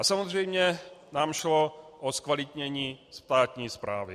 A samozřejmě nám šlo o zkvalitnění státní správy.